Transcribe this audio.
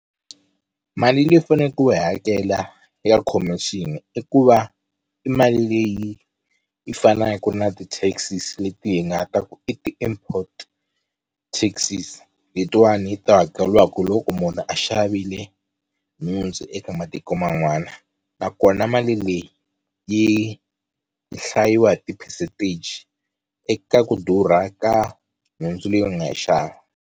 Mali leyi u fane ku yi hakela ya khomixini i ku va i mali leyi yi fanaku na ti-taxes leti hi nga ta ku i ti-import taxes letiwani to hakeliwaku hi loko munhu a xavile nhundzu eka matiko man'wana nakona mali leyi yi hlayiwa hi ti-percentage eka ku durha ka nhundzu leyi u nga yi xava.